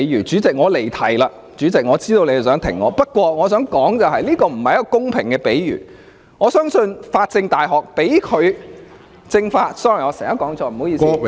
主席，我離題了，我知道你想停止我發言，但我想指出，這並不是一個公平的比喻，相信中國法政——對不起，我常常說錯，是政法大學——頒發給他......